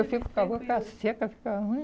Eu fico com a boca seca, fica ruim.